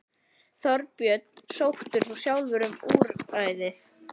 Þorbjörn: Sóttir þú sjálfur um úrræðið?